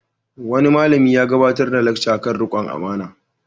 Wani malami ya gabatar da lacca kan riƙon amana.